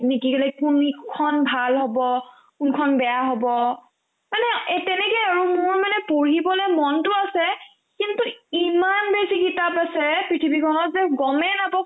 নেকি ক' like কোনিখন ভাল হ'ব কোনখন বেয়া হ'ব মানে এ তেনেকে আৰু মোৰ মানে পঢ়িবলে মনতো আছে কিন্তু ইমান বেছি কিতাপ আছে পৃথিৱীখনত যে গমে নাপাও